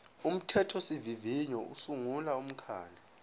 umthethosivivinyo usungula umkhandlu